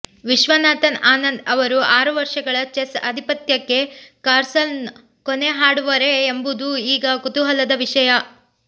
ವಿಶ್ವನಾಥನ್ ಆನಂದ್ ಅವರ ಆರು ವರ್ಷಗಳ ಚೆಸ್ ಅಧಿಪತ್ಯಕ್ಕೆ ಕಾರ್ಲ್ಸನ್ ಕೊನೆ ಹಾಡುವರೇ ಎಂಬುದು ಈಗ ಕುತೂಹಲದ ವಿಷಯ